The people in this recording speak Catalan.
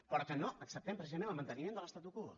perquè no acceptem precisament el manteniment de l’statu quo